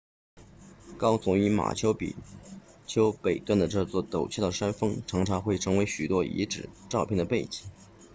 高耸于马丘比丘北端的这座陡峭的山峰常常会成为许多遗址照片的背景